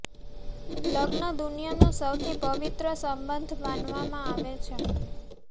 લગ્ન દુનિયા નો સૌથી પવિત્ર સંબંધ માનવામાં આવે છે